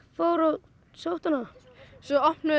fór og sótti hana svo opnuðum